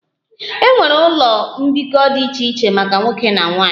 E nwere ụlọ mbikọ dị iche iche maka nwoke na nwanyị